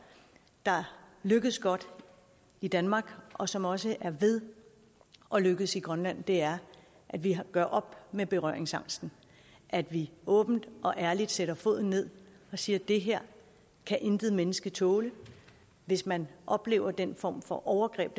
lykkes i danmark og som også er ved at lykkes i grønland er at vi gør op med berøringsangsten at vi åbent og ærligt sætter foden ned og siger det her kan intet menneske tåle hvis man oplever den form for overgreb